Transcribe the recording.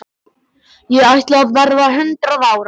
Ég ætla að verða hundrað ára.